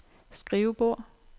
skrivebord